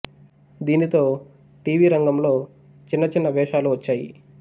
దీనితో TV రంగంలో చిన్న చిన్న వేశాలు వచ్చాయి